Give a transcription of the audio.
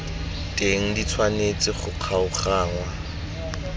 teng di tshwanetse go kgaoganngwa